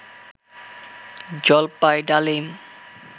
জলপাই ডালিম